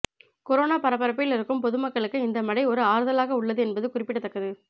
corona பரபரப்பில் இருக்கும் பொதுமக்களுக்கு இந்த மழை ஒரு ஆறுதலாக உள்ளது என்பது குறிப்பிடத்தக்கது